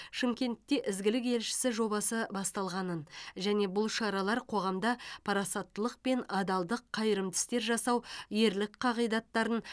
шымкентте ізгілік елшісі жобасы басталғанын және бұл шаралар қоғамда парасаттылық пен адалдық қайырымды істер жасау ерлік қағидаттарын